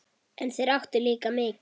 En þeir áttu líka mikið.